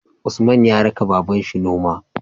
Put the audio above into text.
Usman ya raka babanshi noma